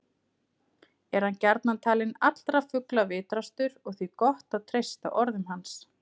Er hann gjarnan talinn allra fugla vitrastur og því gott að treysta orðum hans.